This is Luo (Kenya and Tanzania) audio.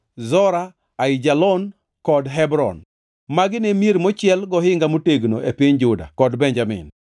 Zora, Aijalon, kod Hebron. Magi ne mier mochiel gohinga motegno e piny Juda kod Benjamin.